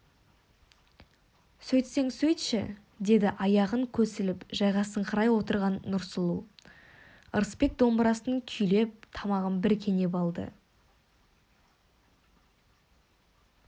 сөйтсең сөйтші деді аяғын көсіліп жайғасыңқырай отырған нұрсұлу ырысбек домбырасын күйлеп тамағын бір кенеп алды